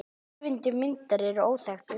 Höfundur myndar er óþekktur.